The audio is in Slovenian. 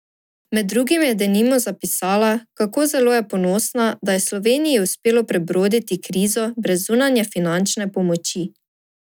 Med drugim je denimo zapisala, kako zelo je ponosna, da je Sloveniji uspelo prebroditi krizo brez zunanje finančne pomoči.